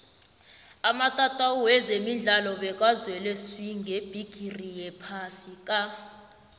amatatawu wezemidlalo bekazele swi ngebhigiri yephasi ka